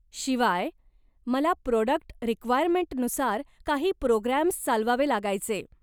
शिवाय मला प्राॅडक्ट रिक्वायर्नमेंटनुसार काही प्रोग्रॅम्स चालवावे लागायचे.